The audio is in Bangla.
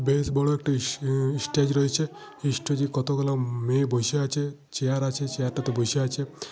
বেশ বড় একটা উন স্টেজ রয়েছে। স্টেজে কতগুলা মেয়ে বসে আছে। চেয়ার আছে চেয়ারটাতে বসে আছে।